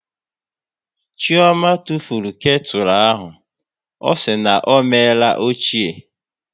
Chioma tụfuru ketu ahụ, ọ sị na ọ meela ochie